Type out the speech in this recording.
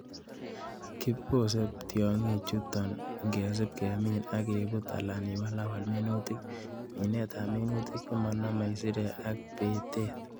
Kibose Tiong'ik chuton ngesib kemin ok kebut alan iwalawal minutik, minetab minutik chemonomeisirek ak bitet.